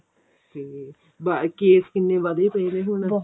ਤੇ ਬ case ਕਿੰਨੇ ਵੱਧੇ ਪਏ ਨੇ ਹੁਣ